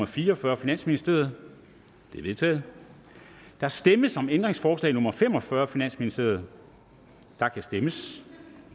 fire og fyrre af finansministeren det er vedtaget der stemmes om ændringsforslag nummer fem og fyrre af finansministeren og der kan stemmes